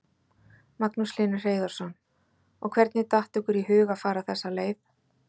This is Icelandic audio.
Magnús Hlynur Hreiðarsson: Og hvernig datt ykkur í hug að fara þessa leið?